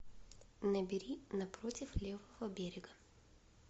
набери напротив левого берега